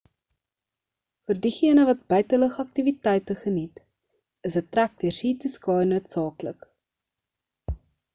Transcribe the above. vir diegene wat buitelugaktiwiteite geniet is 'n trek deur sea to sky' noodsaaklik